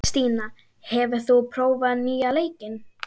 Stína, hefur þú prófað nýja leikinn?